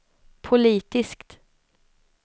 politiskt